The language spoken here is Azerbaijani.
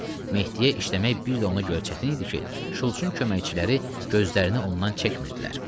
Mehdiyə işləmək bir də ona görə çətin idi ki, Şults-un köməkçiləri gözlərini ondan çəkmirdilər.